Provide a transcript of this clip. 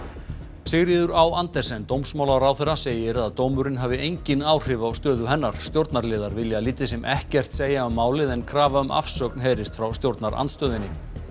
Sigríður á Andersen dómsmálaráðherra segir að dómurinn hafi engin áhrif á stöðu hennar stjórnarliðar vilja lítið sem ekkert segja um málið en krafa um afsögn heyrist frá stjórnarandstöðunni